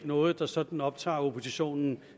noget der sådan optager oppositionen